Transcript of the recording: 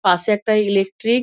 পাশে একটা ইলেক্ট্রিক --